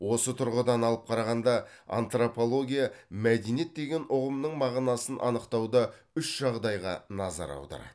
осы тұрғыдан алып қарағанда антропология мәдениет деген ұғымның мағынасын анықтауда үш жағдайға назар аударады